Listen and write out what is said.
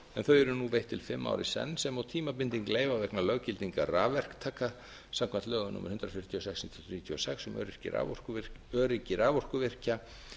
þau eru nú veitt til fimm ára í senn sem og tímabinding leyfa vegna löggildingar rafverktaka samkvæmt lögum númer hundrað fjörutíu og sex nítján hundruð níutíu og sex um öryggi raforkuvirkja